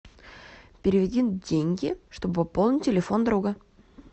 переведи деньги чтобы пополнить телефон друга